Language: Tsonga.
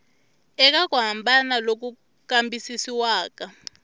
eka ku hambana loku kambisisiwaka